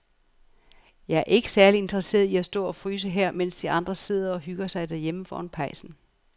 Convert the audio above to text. Jeg er ikke særlig interesseret i at stå og fryse her, mens de andre sidder og hygger sig derhjemme foran pejsen.